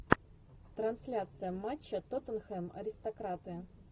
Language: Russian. трансляция матча тоттенхэм аристократы